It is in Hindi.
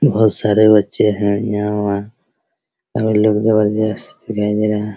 बहुत सारे बच्चे है यहां और लोग जबरदस्त दिखाई दे रहा।